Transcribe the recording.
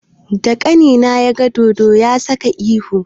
Da ƙanina ya ga dodo, ya saka ihu.